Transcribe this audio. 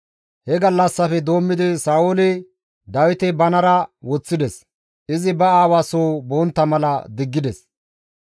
He gallassafe doommidi Sa7ooli Dawite banara woththides; izi ba aawa soo bontta mala diggides.